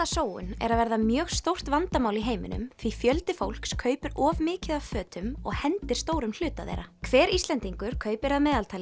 fatasóun er að verða mjög stórt vandamál í heiminum því fjöldi fólks kaupir of mikið af fötum og hendir stórum hluta þeirra hver Íslendingur kaupir að meðaltali